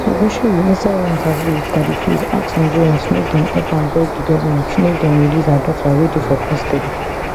ogunseyi inside one interview wit dadi freeze ask nigerians make dem help am beg di goment make dem release her daughter wey dey for custedy